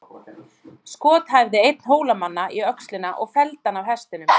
Skot hæfði einn Hólamanna í öxlina og felldi hann af hestinum.